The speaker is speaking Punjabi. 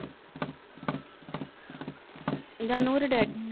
ਜਾ ਨੂੰਹ ਡੈਡੀ ਨੂੰ।